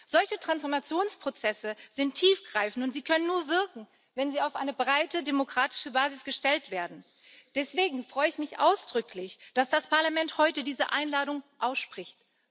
Solche Transformationsprozesse sind tiefgreifend, und sie können nur wirken, wenn sie auf eine breite demokratische Basis gestellt werden. Deswegen freue ich mich ausdrücklich, dass das Parlament heute diese Einladung ausspricht.